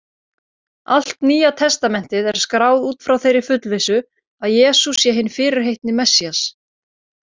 Allt Nýja testamentið er skráð út frá þeirri fullvissu, að Jesús sé hinn fyrirheitni Messías.